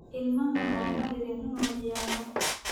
Ilmahan looma dirin inuu ciyaaro